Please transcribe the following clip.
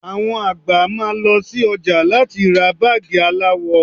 Àwọn àgbà máa lọ sí ọjà láti lọ ra báàgì aláwọ